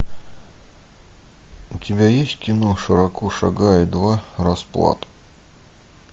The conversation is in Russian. у тебя есть кино широко шагая два расплата